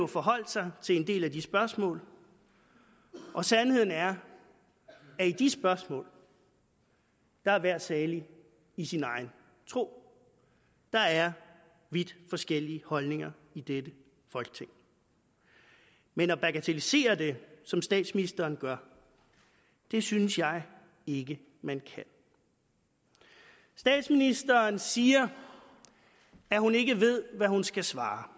forholdt sig til en del af de spørgsmål og sandheden er at i de spørgsmål er hver salig i sin egen tro der er vidt forskellige holdninger i dette folketing men at bagatellisere det som statsministeren gør synes jeg ikke man kan statsministeren siger at hun ikke ved hvad hun skal svare